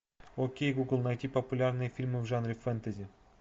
окей гугл найти популярные фильмы в жанре фэнтези